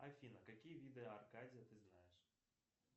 афина какие виды аркадия ты знаешь